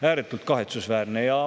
Ääretult kahetsusväärne!